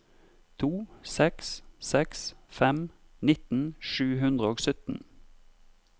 to seks seks fem nitten sju hundre og sytten